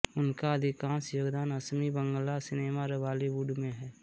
उनका अधिकांश योगदान असमी बांग्ला सिनेमा और बॉलिवुड में है